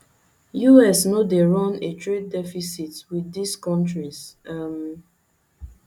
us no dey run a trade deficit wit dis kontris um